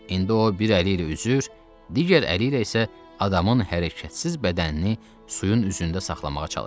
İndi o bir əli ilə üzür, digər əli ilə isə adamın hərəkətsiz bədənini suyun üzündə saxlamağa çalışırdı.